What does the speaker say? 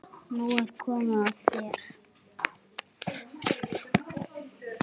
Nú er komið að þér.